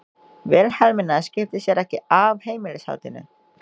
Vilhelmína skipti sér ekki af heimilishaldinu.